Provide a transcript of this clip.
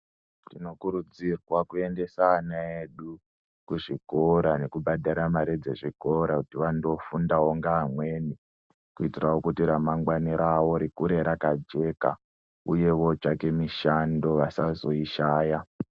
Tinokuridzirwa kuendesa ana edu kuzvikora nekubhadhara mare dzezvikora kuti vandofundawo unga amweni kuitawo kuti ramangwani rawo rikure rakajeka uye vootsvake mishando vasazoishaya.